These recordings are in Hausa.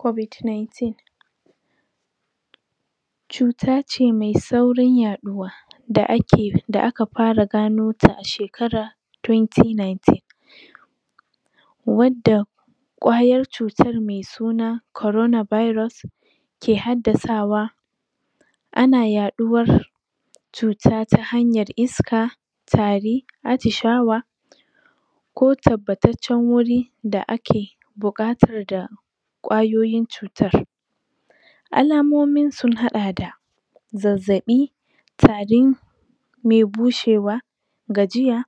Kobid naitin cutace mw saurin yaɗuwa da aka fa ganota a shekara tuwenti naitin wadda kwayar cutan me suna korona bairos ke haddasawa ana yaɗuwar cuta ta hanyar iska tari acishawa ko tabbataccan guri da ake buƙatar da kwayoyin cutar alamomin sun haɗa da zazzaɓi tari me bushewa gajiya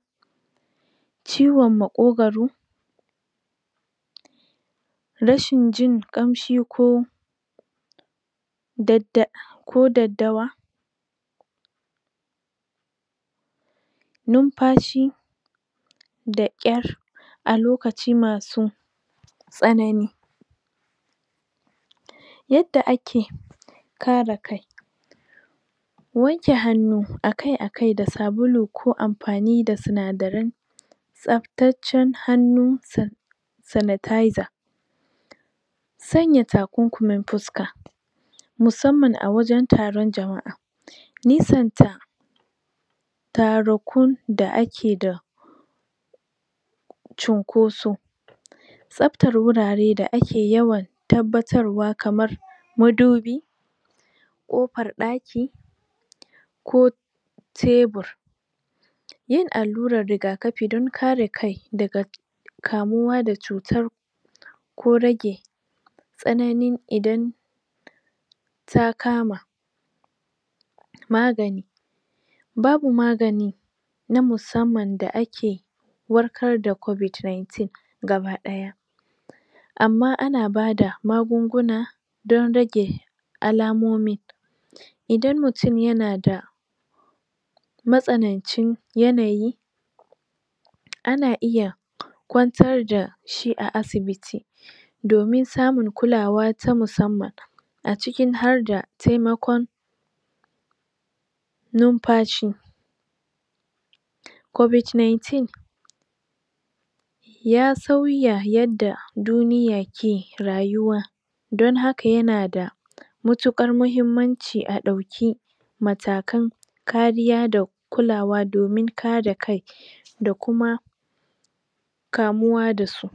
ciwon maƙogoro rashin jin ƙamshi ko dadda ko daddawa numfashi da ƙar alokaci masu tsanani yadda ake kare kai wanke hannu akai akai da sabulu ko amfani da sinadaran tsaftancan hannu sa sanataiza sanya ta kumkummin fuska musamman a wajan taron jama'a nisanta tarukun da ake da cinkoso tsaftan wurare da ake yawan tabbatarwa kaman mudubi kofar ɗaki ko tebur yin alluran riga kafi dan kare kai daga kamuwa da cutar ko rage ƙananun idan takama magani babu magani na musamman da ake wakar da kobid naitin gaba ɗaya amma ana bada magunguna don rage alamomin idan mutun yanada matsanancin yanayi ana iya kwantar dashi a asibiti domin samun kulawa ta musamman acikin harda temakon numfashi kobid naitin ya sauya yadda duniya ke rayuwa don haka yanada mutuƙar muhimmanci a ɗau ki matakan karida kulawa domin karekai da kuma kamuwa dasu